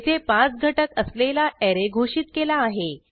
येथे पाच घटक असलेला ऍरे घोषित केला आहे